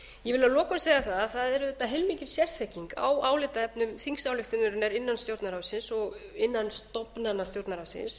ég vil að lokum segja að það er auðvitað heilmikil sérþekking á álitaefnum þingsályktunarinnar innan stjórnarráðsins og innan stofnana stjórnarráðsins